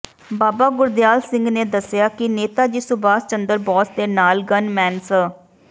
ਬਾਬਾ ਗੁਰਦਿਆਲ ਸਿੰਘ ਨੇ ਦੱਸਿਆ ਕਿ ਨੇਤਾ ਜੀ ਸੁਭਾਸ਼ ਚੰਦਰ ਬੋਸ ਦੇ ਨਾਲ ਗੰਨਮੈਨ ਸ